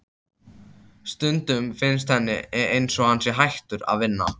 Stundum finnst henni einsog hann sé hættur að vinna.